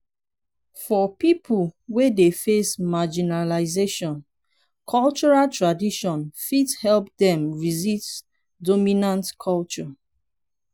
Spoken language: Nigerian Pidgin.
for pipo wey dey face marginalization cultural tradition fit help dem resist dominant culture